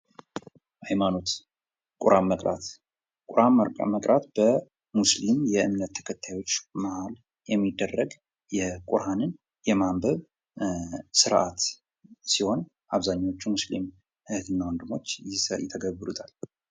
ሀይማኖት ቁርአን መቅራት በሙስሊም እምነት ተከታዮች መሀል የሚደረግ ቁርአን የማንበብ ስርአት ሲሆን አብዛሀኞቹ ሙስሊም እህት እና ወንድሞች ይተገብሩታል።